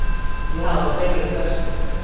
Já, þeir eru bestir.